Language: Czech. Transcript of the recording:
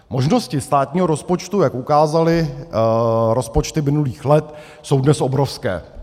- Možnosti státního rozpočtu, jak ukázaly rozpočty minulých let, jsou dnes obrovské.